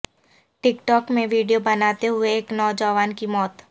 ٹک talk میں video بناتے ہوئے ایک نوجوان کی موت